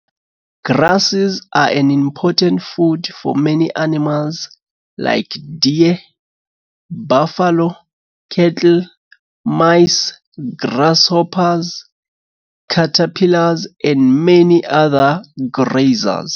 Grasses are an important food for many animals, like deer, buffalo, cattle, mice, grasshoppers, caterpillars, and many other grazers.